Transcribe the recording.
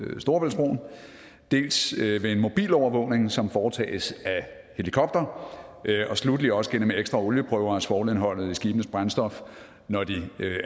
storebæltsbroen dels med en mobilovervågning som foretages af helikoptere og sluttelig også gennem ekstra olieprøver af svovlindholdet i skibenes brændstof når de